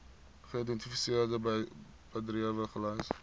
geïdentifiseerde bedrywe gelys